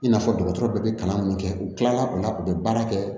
I n'a fɔ dɔgɔtɔrɔ bɛɛ bɛ kalan mun kɛ u tilara u la u bɛ baara kɛ